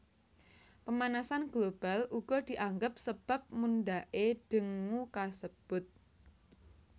Pemanasan global uga dianggap sebab mundhake dengue kasebut